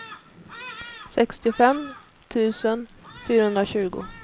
sextiofem tusen fyrahundratjugo